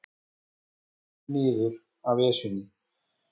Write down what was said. Komnir niður af Esjunni